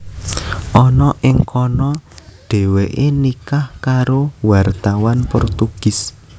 Ana ing kana Dhèwèké nikah karo wartawan Portugis